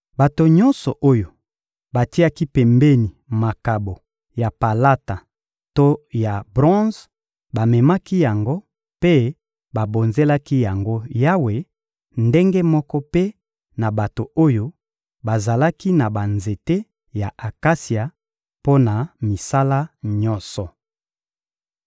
Bato nyonso oyo batiaki pembeni makabo ya palata to ya bronze bamemaki yango mpe babonzelaki yango Yawe; ndenge moko mpe na bato oyo bazalaki na banzete ya akasia mpo na misala nyonso.